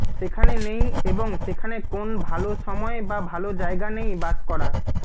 সেখানে নেই এবং সেখানে কোন ভাল সময় বা ভাল জায়গা নেই বাস করা